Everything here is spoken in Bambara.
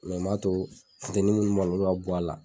Mɛ n m'a to funtɛni munnu b'a la olu ka bɔra